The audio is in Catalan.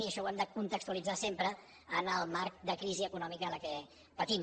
i això ho hem de contextualitzar sempre en el marc de crisi econòmica que patim